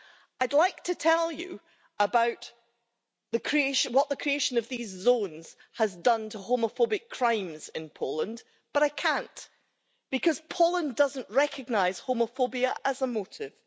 I'd like to tell you about what the creation of these zones has done to homophobic crimes in Poland, but I can't because Poland doesn't recognise homophobia as a motive.